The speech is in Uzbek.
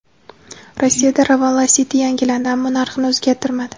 Rossiyada Ravon Lacetti yangilandi, ammo narxini o‘zgartirmadi.